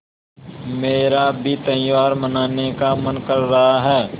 मेरा भी त्यौहार मनाने का मन कर रहा है